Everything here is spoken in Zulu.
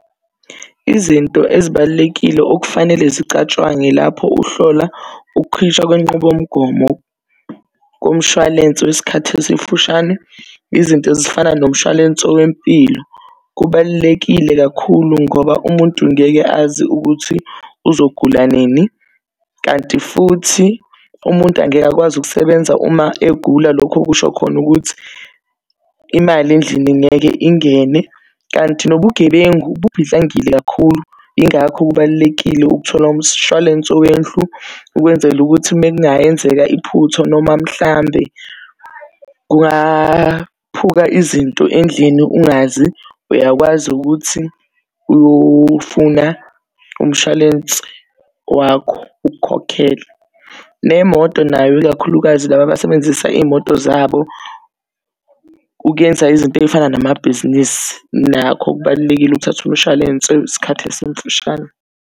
Izinto ezibalulekile okufanele zicatshwangwe lapho uhlola ukukhishwa kwenqubomgomo komshwalense wesikhathi esifushanei izinto ezifana nomshwalense wempilo. Kubalulekile kakhulu ngoba umuntu ngeke azi ukuthi uzogula nini, kanti futhi umuntu angeke akwazi ukusebenza uma egula. Lokhu okusho khona ukuthi imali endlini ngeke ingene. Kanti nobugebengu buphidlangile kakhulu ingakho kubalulekile ukuthola umshwalense wendlu ukwenzela ukuthi makungayenzeka iphutha. Noma mhlambe kungaphuka izinto endlini ungazi uyakwazi ukuthi uyofuna umshwalense wakho ukukhokhele. Nemoto nayo, ikakhulukazi laba abasebenzisa iy'moto zabo ukuyenza izinto ey'fana namabhizinisi nakho kubalulekile ukuthatha umshwalense wesikhathi esimfushane.